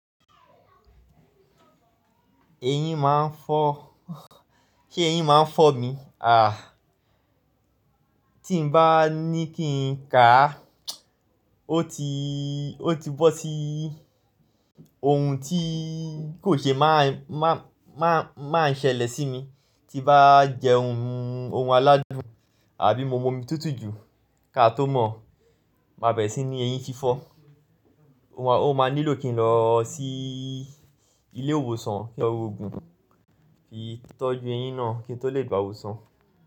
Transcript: Ẹyin máa ń fọ́, se ẹyin máa ń fọ́ mi. Àh! Tí n bá ní kí n ká á, ó ti, ó ti bọ́ sí ohun tí kò ṣe má má má máa ń ṣẹlẹ̀ sí mi. Tí n bá jẹ ohun, ohun aládùn àbí mo mu omi tútù jù, kaá tó mọ̀, má bẹ̀re sí ní eyín fi fọ́. Ó máa nílò kí n lọ sí ilé ìwòsàn kí n lọ rogun, fi tọ́jú eyín náà kí n tó lè gba ìwòsàn.